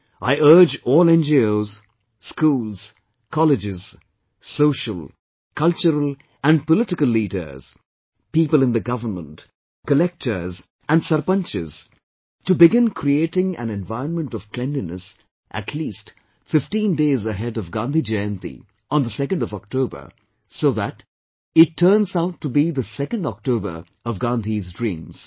I urge all NGOs, schools, colleges, social, cultural and political leaders, people in the government, collectors and sarpanches, to begin creating an environment of cleanliness at least fifteen days ahead of Gandhi Jayanti on the 2nd of October so that it turns out to be the 2nd October of Gandhi's dreams